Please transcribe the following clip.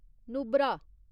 Nubra